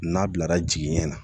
N'a bilara jigiɲɛ na